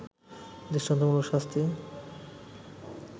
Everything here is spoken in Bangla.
দৃষ্টান্তমূলক শাস্তি